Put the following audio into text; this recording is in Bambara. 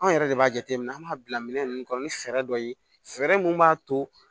Anw yɛrɛ de b'a jateminɛ an b'a bila minɛ ninnu kɔnɔ ni fɛɛrɛ dɔ ye fɛɛrɛ mun b'a to